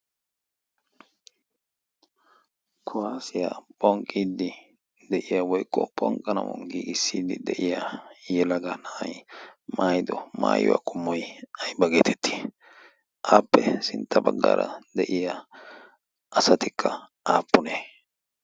Kuwassiya phonqqidi de'iyaa woykko phonqanawu giigisiddi de'yaa yelagga na'ay maayiddo maayuwaa qommoy ayba geetteti? appe sintta baggara de'iyaa asattikka aapune?